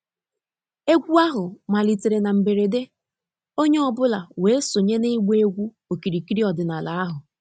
Egwu ahụ malitere na mberede, onye ọ bụla wee sonye na ịgba egwu okirikiri ọdịnala ahụ.